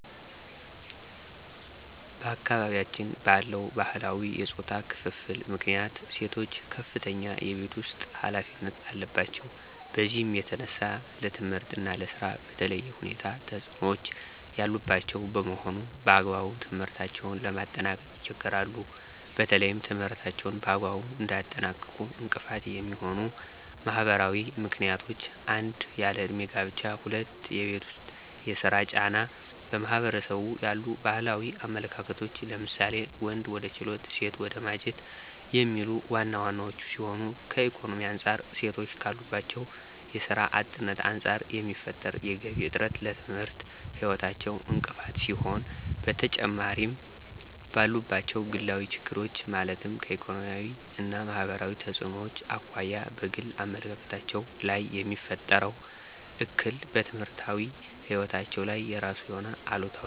በአካባቢያችን ባለው ባህላዊ የፆታ ክፍፍል ምክንያት ሴቶች ከፍተኛ የቤት ውስጥ ኃላፊነት አለባቸው። በዚህም የተነሳ ለትምህርት እና ለስራ በተለየ ሁኔታ ተፅዕኖ ያለባቸው በመሆኑ በአግባቡ ትምህርታቸውን ለማጠናቀቅ ይቸገራሉ። በተለይም ትምህርታቸውን በአግባቡ እንዳያጠናቅቁ እንቅፋት የሚሆኑ ማህበራዊ ምክንያቶች 1- ያለ እድሜ ጋብቻ 2- የቤት ውስጥ የስራ ጫና 3- በማህበረሰቡ ያሉ ባህላዊ አመለካከቶች ለምሳሌ:- ወንድ ወደ ችሎት ሴት ወደ ማጀት የሚሉት ዋና ዋናወቹ ሲሆኑ ከኢኮኖሚ አንፃር ሴቶች ካለባቸው የስራ አጥነት አንፃር የሚፈጠር የገቢ እጥረት ለትምህርት ህይወታቸው እንቅፋት ሲሆን በተጨማሪምባሉባቸው ግላዊ ችግሮች ማለትም ከኢኮኖሚያዊ እና ማህበራዊ ተፅዕኖዎች አኳያ በግል አመለካከታቸው ላይየሚፈጥረው እክል በትምህርታዊ ህይወታቸው ላይ የራሱ የሆነ አሉታዊ ተፅዕኖ አለው።